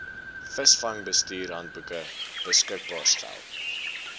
visvangsbestuurshandboeke beskikbaar stel